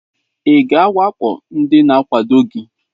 Ị ga-awakpo ndị na-akwadoghị gị?